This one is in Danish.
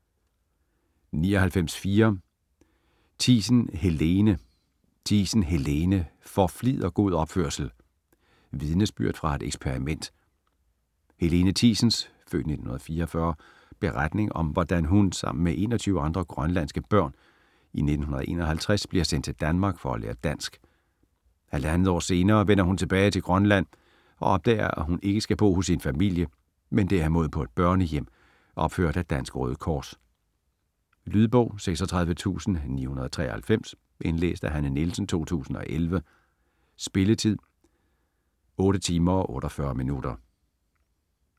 99.4 Thiesen, Helene Thiesen, Helene: For flid og god opførsel: vidnesbyrd fra et eksperiment Helene Thiesens (f. 1944) beretning om hvordan hun sammen med 21 andre grønlandske børn i 1951 bliver sendt til Danmark for at lære dansk. Halvandet år senere vender hun tilbage til Grønland og opdager, at hun ikke skal bo hos sin familie, men derimod på et børnehjem, opført af Dansk Røde Kors. Lydbog 36993 Indlæst af Hanne Nielsen, 2011. Spilletid: 8 timer, 48 minutter.